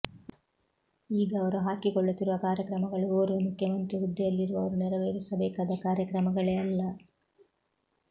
ಈಗ ಅವರು ಹಾಕಿಕೊಳ್ಳುತ್ತಿರುವ ಕಾರ್ಯಕ್ರಮಗಳು ಓರ್ವ ಮುಖ್ಯಮಂತ್ರಿ ಹುದ್ದೆಯಲ್ಲಿರುವವರು ನೆರವೇರಿಸಬೇಕಾದ ಕಾರ್ಯಕ್ರಮಗಳೇ ಅಲ್ಲ